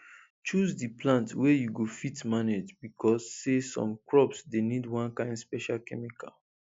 choose di plant wey you go fit manage becos say some crops dey need one kain special chemical